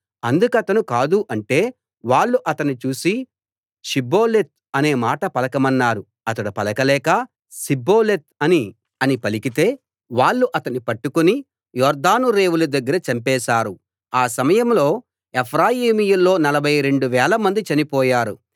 అందుకతను కాదు అంటే వాళ్ళు అతన్ని చూసి షిబ్బోలెత్ అనే మాట పలకమన్నారు అతడు పలకలేక సిబ్బోలెత్ అని పలికితే వాళ్ళు అతన్ని పట్టుకుని యొర్దాను రేవుల దగ్గర చంపేశారు ఆ సమయంలో ఎఫ్రాయిమీయుల్లో నలభై రెండు వేల మంది చనిపోయారు